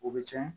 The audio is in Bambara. O bɛ cɛn